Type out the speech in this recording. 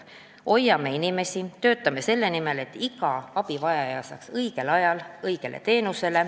" Hoiame inimesi, töötame selle nimel, et iga abivajaja saaks õigel ajal õiget teenust.